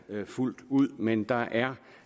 fuldt ud men der er